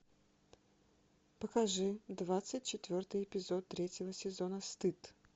покажи двадцать четвертый эпизод третьего сезона стыд